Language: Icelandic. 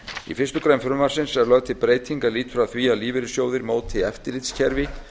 í fyrstu grein frumvarpsins er lögð til breyting er lýtur að því að lífeyrissjóðir móti eftirlitskerfi